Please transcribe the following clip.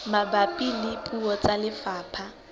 mabapi le puo tsa lefapha